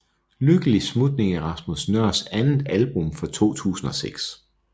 Lykkelig Smutning er Rasmus Nøhrs andet album fra 2006